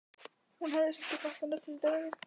Hún hefði samt ekki átt að nefna þetta við þig.